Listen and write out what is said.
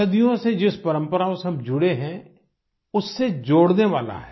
सदियों से जिस परम्पराओं से हम जुड़े हैं उससे जोड़ने वाला है